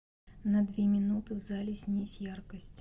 на две минуты в зале снизь яркость